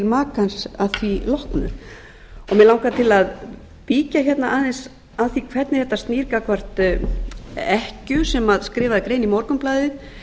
makans að því loknu mig langar til að víkja hérna aðeins að því hvernig þetta snýr gagnvart ekkju sem skrifaði grein í morgunblaðið